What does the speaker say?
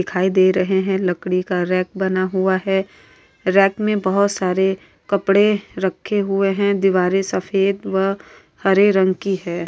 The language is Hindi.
दिखाई दे रहे है लकड़ी का रैक बना हुआ है रैक में बहुत सारे कपड़े रखे हुए है दीवारे सफ़ेद व हरे रंग की है।